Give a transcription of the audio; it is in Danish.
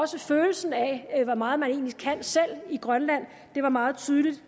til følelsen af hvor meget man egentlig kan selv i grønland det var meget tydeligt